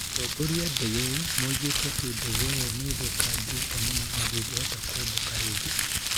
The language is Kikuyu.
Atongoria a ndege ĩyo moigĩte atĩ ndege ĩyo nĩ ĩthũkangĩte mũno na ndĩngĩbota kũmbũka rĩngĩ.